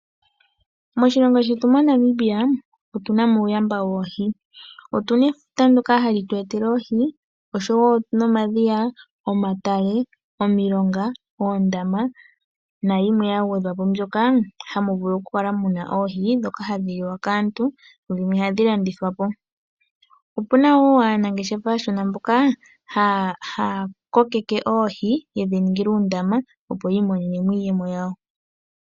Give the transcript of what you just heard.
Moshilongo shetu moNamibia otuna mo uuyamba woohi. Otuna efuta ndyoka hali tu etele oohi oshowo omadhiya, omatale, oondama oshowo yimwe mbyoka hamu vulu ku kala muna oohi ndhoka hadhi liwa kaantu dhimwe tadhi landithwa po. Opuna wo aanangeshefa aashona mboka haya kokeke oohi yedhi ningila uundama, opo yedhi landithepo yi imonene iiyemo yawo.